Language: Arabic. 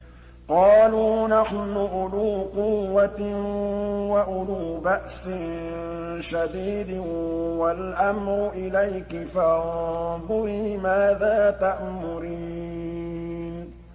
قَالُوا نَحْنُ أُولُو قُوَّةٍ وَأُولُو بَأْسٍ شَدِيدٍ وَالْأَمْرُ إِلَيْكِ فَانظُرِي مَاذَا تَأْمُرِينَ